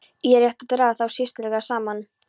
Er rétt að draga þá sérstaklega saman.